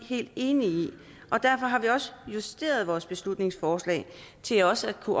helt enige i og derfor har vi justeret vores beslutningsforslag til også at kunne